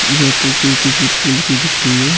या तस्वीर किसी पुल की दिख रही है।